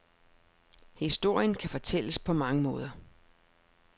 Historien kan fortælles på mange måder.